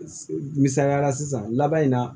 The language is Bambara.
Misaliya la sisan laban in na